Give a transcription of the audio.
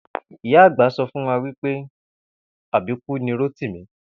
Ìyá àgb̀a so̩ wí pé àbíkú ni Rótìmí